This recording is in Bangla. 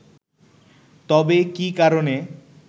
তবে কি কারণে